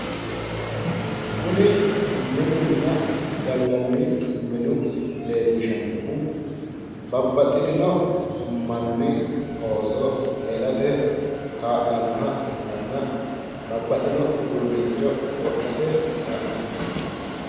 Kuni minunna gallanni minu leellishannohu babbaxitino manni ooso heerate kaa'lannoha ikkanna babbaxino uduunnicho wodhate kaa'lannoho.